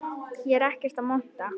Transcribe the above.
Ég er ekkert að monta.